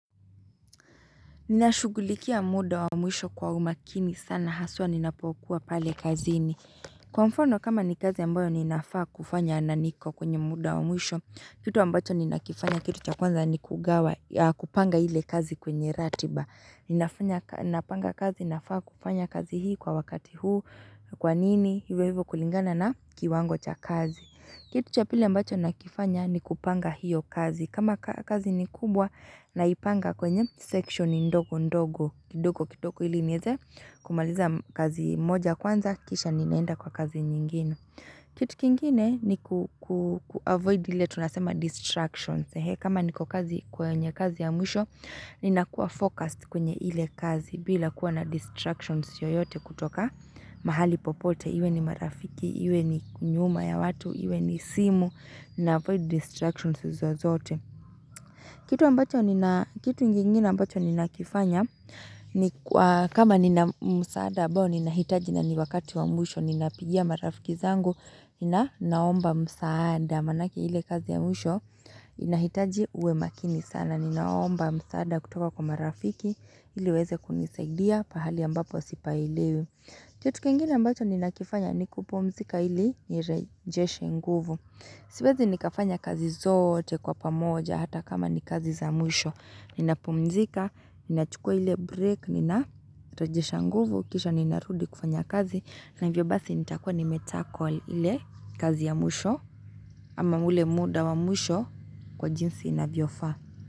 Ninashughulikia muda wa mwisho kwa umakini sana haswa ninapokuwa pale kazini. Kwa mfano kama ni kazi ambayo ninafaa kufanya na niko kwenye muda wa mwisho. Kitu ambacho ninakifanya kitu cha kwanza ni kugawa kupanga ile kazi kwenye ratiba. Ninafanya, Ninapanga kazi nafaa kufanya kazi hii kwa wakati huu kwanini hivyo hivyo kulingana na kiwango cha kazi. Kitu cha pili ambacho nakifanya ni kupanga hiyo kazi. Kama kazi ni kubwa, naipanga kwenye section ndogo-ndogo, kidogo-kidogo ilinieze, kumaliza kazi moja kwanza, kisha ninaenda kwa kazi nyingine. Kitu kingine ni kuavoid ile tunasema distractions. Kama niko kazi kwenye kazi ya mwisho, nina kuwa focused kwenye ile kazi, bila kuwa na distractions yoyote kutoka mahali popote. Iwe ni marafiki, iwe ni nyuma ya watu, iwe ni simu, na avoid distractions izo zote. Kitu ambacho nina kitu ingine ambacho ninakifanya ni kama nina msaada ambao ninahitaji na ni wakati wa mwisho ninapigia marafiki zangu nina naomba msaada maanake ile kazi ya mwisho inahitaji uwe makini sana ninaomba msaada kutoka kwa marafiki ili waweze kunisaidia pahali ambapo sipailewi kitu kingine ambacho ninakifanya ni kupumzika ili nirejeshe nguvu. Siwezi nikafanya kazi zote kwa pamoja hata kama ni kazi za mwisho. Ninapumzika, ninachukua ile break, ninarejesha nguvu, kisha ninarudi kufanya kazi. Na hivyo basi nitakua nimetackle ile kazi ya mwisho ama ule muda wa mwisho kwa jinsi inavyofaa.